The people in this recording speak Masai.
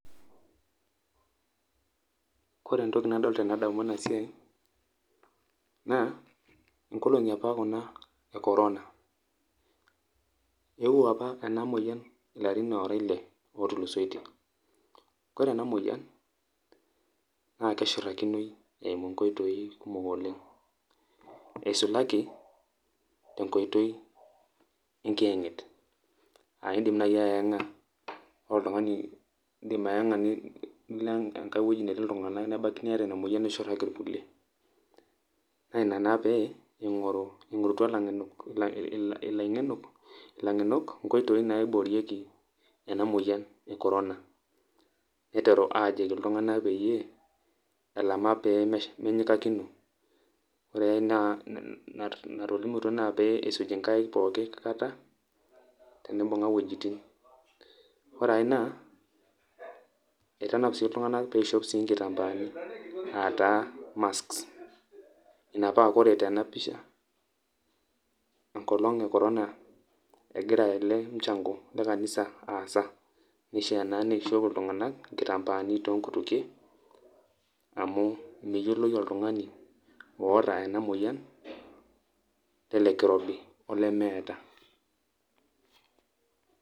Kore entoki nadol tenadamu enasiai, naa, inkolong'i apa kuna e corona. Eewuo apa ena moyian ilarin ora ile otulusoitie. Kore ena moyian, na kishurtakinoi eimu nkoitoii kumok oleng'. Eisulaki, enkoitoi enkieng'et. Ah idim nai ayeng'a oltung'ani, idim ayeng'a nilo enkae woi netii iltung'anak, nebaki niata ina moyian nishurtaki irkulie. Na ina naa pee, ing'oru, ing'orutua ilaing'enok, ilang'enok, inkoitoii naiboorieki ena moyian e corona. Niteru ajoki iltung'anak peyie, elama pemenyikakino. Ore ai natolimutuo naa, pisuji nkaik pooki kata, tenibung'a wuejiting. Ore ae naa, eitanap si iltung'anak peishop si nkitambaani. Ataa masks. Ina pa kore tena pisha, enkolong e corona egira ele mchango lekanisa aasa. Nishaa naa neishop iltung'anak, nkitambaani tonkutukie, amu meyioloi oltung'ani oota ena moyian, ele kirobi, ole meeta.